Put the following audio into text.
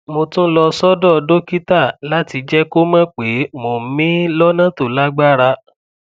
mo tún lọ sọdọ dókítà láti jẹ kó mọ pé mò ń mií lọnà tó lágbára